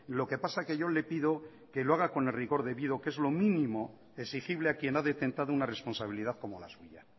lo que pasa que yo le pido que lo haga con el rigor debido que es lo mínimo exigible a quien ha detentado una responsabilidad como la suya